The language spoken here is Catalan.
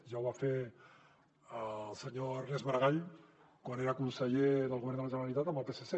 ja ho va fer el senyor ernest maragall quan era conseller del govern de la generalitat amb el psc